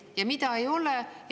Ja mida ei ole?